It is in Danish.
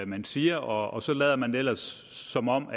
man siger og så lader man ellers som om